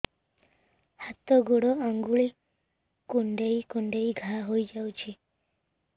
ହାତ ଗୋଡ଼ ଆଂଗୁଳି କୁଂଡେଇ କୁଂଡେଇ ଘାଆ ହୋଇଯାଉଛି